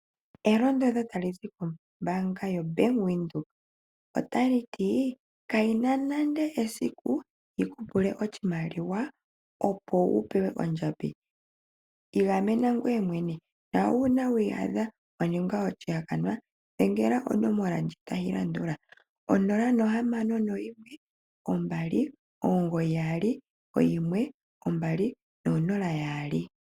Elondodho tali zi kombaanga yoBank Windhoek otali ti: ka yi na nande esiku yiku pule oshimaliwa, opo wu pewe ondjambi, igamena ngoye mwene, na uuna wi iyadha wa ninga oshihakanwa, dhengela onomola ndjika tayi landula 0612991200.